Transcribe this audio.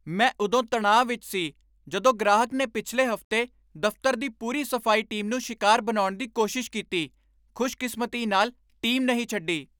ਮੈਂ ਉਦੋਂ ਤਣਾਅ ਵਿੱਚ ਸੀ ਜਦੋਂ ਗ੍ਰਾਹਕ ਨੇ ਪਿਛਲੇ ਹਫ਼ਤੇ ਦਫ਼ਤਰ ਦੀ ਪੂਰੀ ਸਫ਼ਾਈ ਟੀਮ ਨੂੰ ਸ਼ਿਕਾਰ ਬਣਾਉਣ ਦੀ ਕੋਸ਼ਿਸ਼ ਕੀਤੀ। ਖ਼ੁਸ਼ਕਿਸਮਤੀ ਨਾਲ, ਟੀਮ ਨਹੀਂ ਛੱਡੀ.।